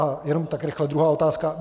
A jenom tak rychle druhá otázka.